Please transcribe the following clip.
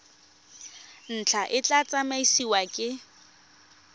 ntlha e tla tsamaisiwa ke